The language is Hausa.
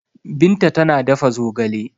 Binta tana dafa zogale.